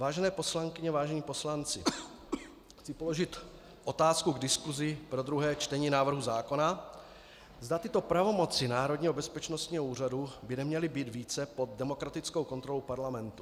Vážené poslankyně, vážení poslanci, chci položit otázku k diskusi pro druhé čtení návrhu zákona, zda tyto pravomoci Národního bezpečnostního úřadu by neměly být více pod demokratickou kontrolou parlamentu.